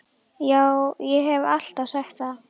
Já, ég haf alltaf sagt það.